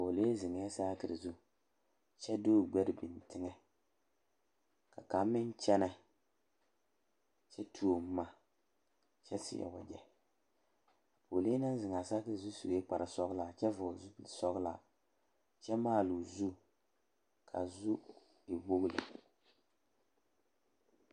Pɔgelee zeŋɛɛ saakere zu kyɛ de o gbɛre biŋ teŋɛ ka kaŋ meŋ kyɛnɛ kyɛ tuo boma kyɛ seɛ wagyɛ pɔgelee naŋ zeŋ a saakere zu sue kparesɔglaa kyɛ vɔgle zupilisɔglaa kyɛ maale o zu k,a zu e wogi lɛ.